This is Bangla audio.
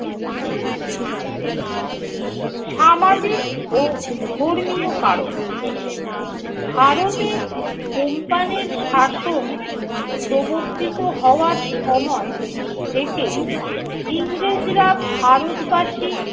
সামাজিক ও ধর্মীয় কারণ- ভারতে company র শাসন প্রবর্তিত হওয়ার সময় থেকেই ইংরেজরা ভারত বাসি